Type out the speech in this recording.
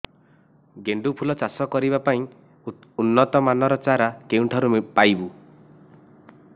ଗେଣ୍ଡୁ ଫୁଲ ଚାଷ କରିବା ପାଇଁ ଉନ୍ନତ ମାନର ଚାରା କେଉଁଠାରୁ ପାଇବୁ